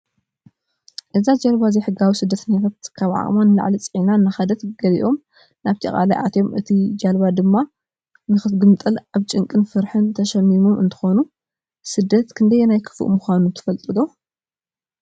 አዛ ጃልባ ዘይሕጋዊ ስደተኛታት ካብ ዓቅማ ንላዕሊ ፂዒና እናከደት ገሊኣም ናብቲ ቃላይ አትዩም እታ ጃልባ ድማ ነክትግምጠል አብ ጭንቂ ፍርሓትን ተሽሚሞም እንትኮን ሰደት ክንደየናይ ክፉእ ምካኑ ትፈልጡ ዶ?